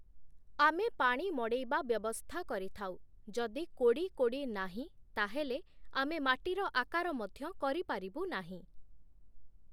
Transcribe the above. ଆମେ ପାଣି ମଡ଼େଇବା ବ୍ୟବସ୍ଥା କରିଥାଉ, ଯଦି କୋଡ଼ି କୋଡ଼ି ନାହିଁ ତାହେଲେ ଆମେ ମାଟିର ଆକାର ମଧ୍ୟ କରିପାରିବୁ ନାହିଁ ।।